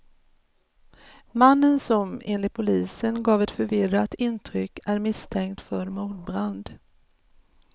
Mannen som, enligt polisen, gav ett förvirrat intryck är misstänkt för mordbrand.